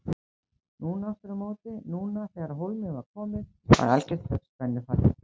Núna aftur á móti, núna þegar á hólminn var komið var algert spennufall.